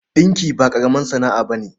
Ɗinki ba ƙaramar sana'a ba ce.